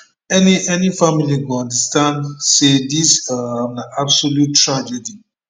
any any family go understand say dis um na absolute tragedy